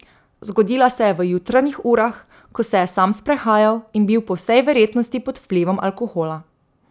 Zgodila se je v jutranjih urah, ko se je sam sprehajal in bil po vsej verjetnosti pod vplivom alkohola.